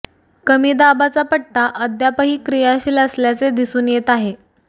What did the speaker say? कमी दाबाचा पट्टा अद्यापही क्रियाशील असल्याचे दिसून येत आहे